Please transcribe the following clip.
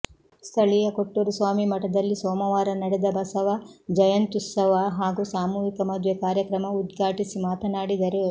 ಸ್ಥಳೀಯ ಕೊಟ್ಟೂರುಸ್ವಾಮಿ ಮಠದಲ್ಲಿ ಸೋಮವಾರ ನಡೆದ ಬಸವ ಜಯಂತ್ಯುತ್ಸವ ಹಾಗೂ ಸಾಮೂಹಿಕ ಮದುವೆ ಕಾರ್ಯಕ್ರಮ ಉದ್ಘಾಟಿಸಿ ಮಾತನಾಡಿದರು